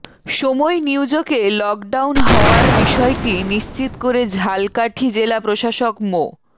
সময় নিউজকে লকডাউন হওয়ার বিষয়টি নিশ্চিত করে ঝালকাঠি জেলা প্রশাসক মো